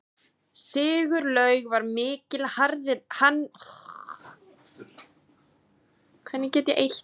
Sigurlaug var mikil hannyrðakona og saumaði nokkra skautbúninga.